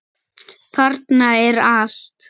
Þarna er allt.